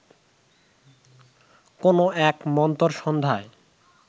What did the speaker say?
কোনো এক মন্থর সন্ধ্যায়